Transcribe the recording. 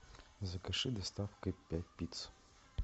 закажи доставкой пять пицц